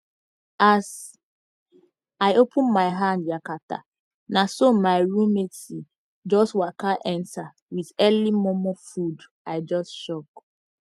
as i open my hand yakata naso my roo matie jus waka enta wit earli momo food i jus shock